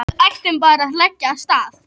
Við ættum bara að leggja af stað